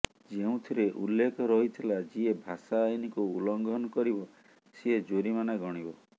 ଯେଉଁଥିରେ ଉଲ୍ଲେଖ ରହିଥିଲା ଯିଏ ଭାଷା ଆଇନକୁ ଉଲ୍ଲଂଘନ କରିବ ସିଏ ଜୋରିମାନା ଗଣିବ